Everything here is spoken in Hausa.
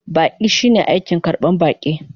Baƙi shine aikin karban baƙi.